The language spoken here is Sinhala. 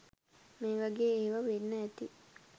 මේ වගේ ඒවා වෙන්න ඇති